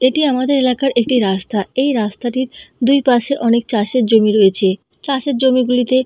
এটি আমাদের এলাকার একটি রাস্তা। এই রাস্তাটির দুই পাশে অনেক চাষের জমি রয়েছে। চাষের জমি গুলিতে--